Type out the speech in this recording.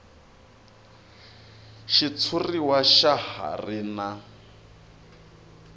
xitshuriwa xa ha ri na